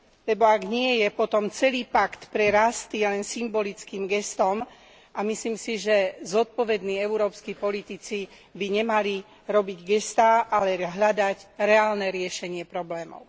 Lebo ak nie je, potom celý pakt pre rast je len symbolickým gestom a myslím si, že zodpovední európski politici by nemali robiť gestá, ale hľadať reálne riešenie problémov.